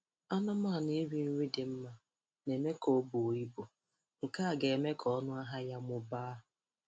Anụmanụ iri nri dị mma na-eme ka o buo ibu, nke a ga-eme ka ọnụ ahịa ya mụbaa